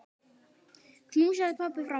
Knúsaðu pabba frá mér.